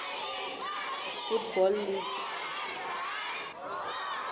football league